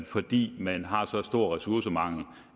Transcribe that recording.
fordi man har så stor ressourcemangel